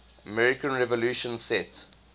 american revolution set